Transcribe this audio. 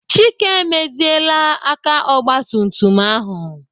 Chike emeziela aka ogbatumtum ahụ.